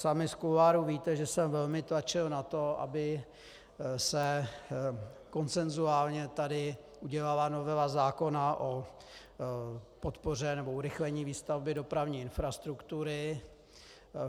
Sami z kuloárů víte, že jsem velmi tlačil na to, aby se konsenzuálně tady udělala novela zákona o podpoře nebo urychlení výstavby dopravní infrastruktury.